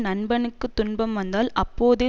நண்பனுக்குத் துன்பம் வந்தால் அப்போதே